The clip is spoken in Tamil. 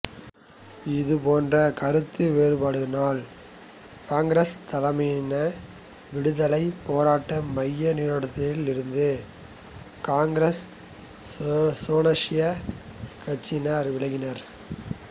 இதுபோன்ற கருத்து வேற்றுமைகளால் காங்கிரஸ் தலைமையிலான விடுதலை போரட்ட மைய நீரோட்டத்திலிருந்து காங்கிரஸ் சோஷலிசக் கட்சியினர் விலகினர்